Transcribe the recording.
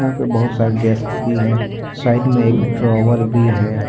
बहुत सारे डेस्क भी है साइड में एक ड्रावर भी है।